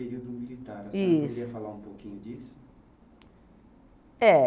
Período militar né Isso A senhora poderia falar um pouquinho disso? É